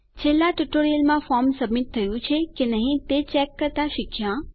છેલ્લા ટ્યુટોરીયલમાં આપણે ફોર્મ સબમીટ થયું છે કે નહી તે ચેક કરતા શીખ્યા